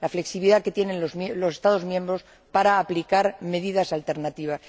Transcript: la flexibilidad que tienen los Estados miembros para aplicar medidas alternativas.